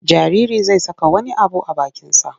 Jaririi zai saka wani abu a bakinsa.